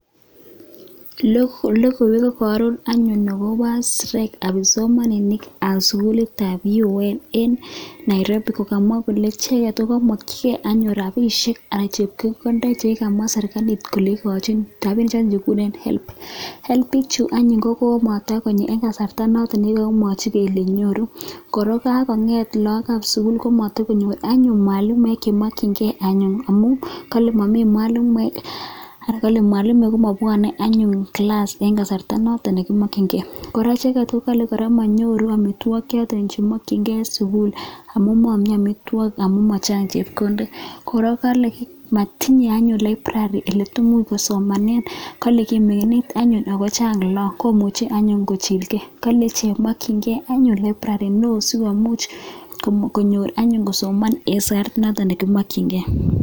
logoiwek agobo strike anan kipsomaninik chebo sugul nebo barak university of Nairobi kokamwa kole icheket kokanyor chike anyun rabisiek anan chebkondok chekamwa serkalit kole igochin rabinik chekikuren higher education loans board higher education loans board ih kokomatokoit en kasarta noton ne nyalunot nekikakimwachi kele nyoru kora ih kogakonget lakok kab sugul komatokonyor anyuun mwalimuek chemakienge amuun Mami mwalimuek anan kale mwalimuek komabuane kilas en Kasarta noton nekimakyinge kora kale manyoru amituagig choton chemakienge en sugul amu Mami amituagig sugul, kora kale matinye anyun library olekisomanen oleimuch kosomanen kale ki ming'iinit anyuun Ako Chang lakok Ako kimakyinige asikosoman en sait noto nekimakyinge